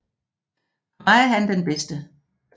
For mig er han den bedste